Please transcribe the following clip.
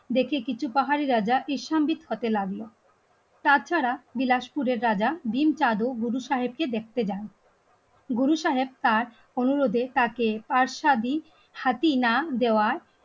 কিছু পাহাড়ি রাজা থাকতে লাগলো তা ছাড়া বিলাসপুরের রাজা, ডিমটা, গুরু সাহেবকে দেখে যান গুরু সাহেব কাজে তাকে পাঠশাদী হাতি না দেওয়ায়